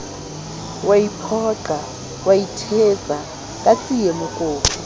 iphoqa o ithetsa ka tsiemokopu